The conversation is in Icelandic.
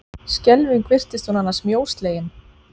Skelfing virtist hún annars mjóslegin!